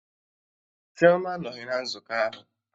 Chioma anọghị na nzukọ ahụ